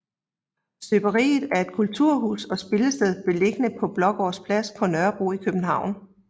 Støberiet er et kulturhus og spillested beliggende på Blågårds Plads på Nørrebro i København